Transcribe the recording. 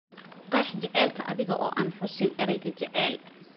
qeex jacaylka adiga oo aan xusin ereyga jacayl